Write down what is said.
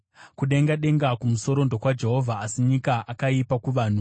Kudenga denga kumusoro ndokwaJehovha, asi nyika akaipa kuvanhu.